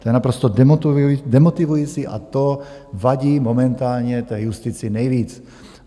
To je naprosto demotivující a to vadí momentálně té justici nejvíc.